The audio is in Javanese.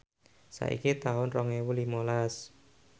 saiki taun rong ewu limalas